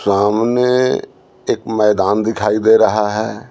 सामने एक मैदान दिखाई दे रहा है।